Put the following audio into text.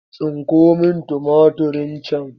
Tsinko min tumatirin can!